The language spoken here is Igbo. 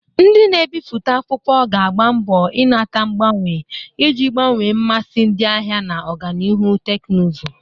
Ndị na-ebipụta akwụkwọ ga-agba mbo inata mgbanwe iji gbanwee mmasị ndị ahịa na ọganihu teknụzụ.